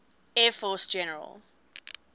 air force general